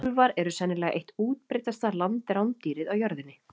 Úlfar eru sennilega eitt útbreiddasta landrándýrið á jörðinni.